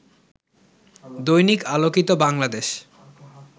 Dainik Alokito Bangladesh